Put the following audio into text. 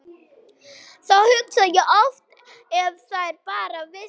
Þá hugsa ég oft að ef þær bara vissu.